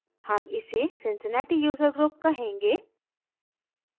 हम इसे cincinnati user group कहेंगे